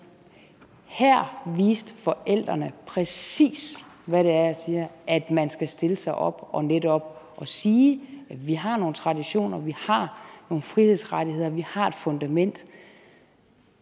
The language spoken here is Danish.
her viste forældrene præcis hvad det er jeg siger at man skal stille sig op og netop sige at vi har nogle traditioner vi har nogle frihedsrettigheder vi har et fundament